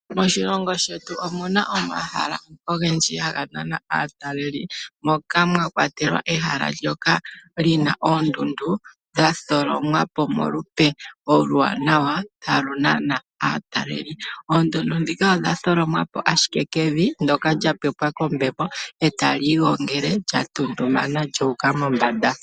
Moshilongo shetu omuna omahala ogendji haga nana aatalelipo moka mwa kwatelwa ehala ndyoka lina oondundu dha tholomwa po molupe oluwanawa halu nana aatalelipo. Oondundu dhika odha tholomwa po ashike kevi ndjoka lya pepwa kombepo etali igongele, lyatuntumana lyuuka mombanda.